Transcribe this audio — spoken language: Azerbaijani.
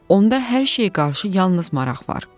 Onda hər şeyə qarşı yalnız maraq var.